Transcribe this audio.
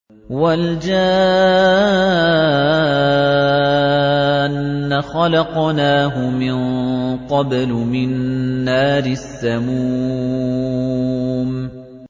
وَالْجَانَّ خَلَقْنَاهُ مِن قَبْلُ مِن نَّارِ السَّمُومِ